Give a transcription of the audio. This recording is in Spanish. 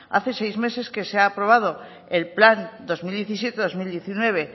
hace seis meses que se ha aprobado el plan dos mil diecisiete dos mil diecinueve